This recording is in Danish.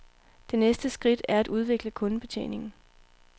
Det næste skridt er at udvikle kundebetjeningen.